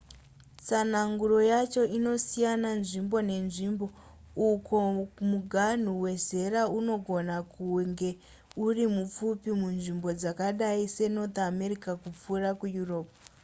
tsanangudzo yacho inosiyana nzvimbo nenzvimbo uko muganhu wezera unongona kunge uri mupfupi munzvimbo dzakadai senorth america kupfuura kueurope